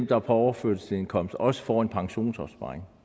der er på overførselsindkomst også får en pensionsopsparing